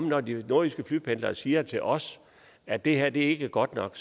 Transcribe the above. når de nordjyske flypendlere siger til os at det her ikke er godt nok